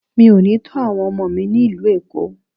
Mi ò ní tó àwọn ọmọ mi ní ìlú Èkó.